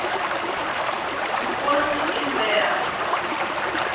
vukosi i mberha p